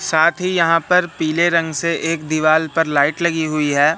साथ ही यहां पर पीले रंग से एक दीवाल पर लाइट लगी हुई है।